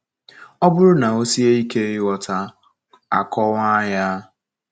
Ọ bụrụ na ọ sie ike ighọta, a kọwaa ya.